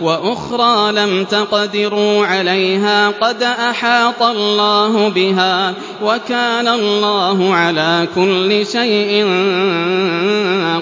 وَأُخْرَىٰ لَمْ تَقْدِرُوا عَلَيْهَا قَدْ أَحَاطَ اللَّهُ بِهَا ۚ وَكَانَ اللَّهُ عَلَىٰ كُلِّ شَيْءٍ